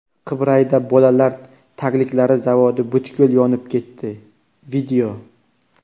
Qibrayda bolalar tagliklari zavodi butkul yonib ketdi.